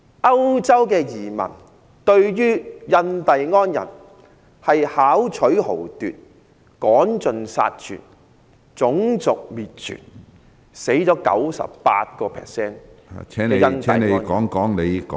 歐洲移民對印第安人巧取豪奪、趕盡殺絕、種族滅絕，令 98% 的印第安人死亡。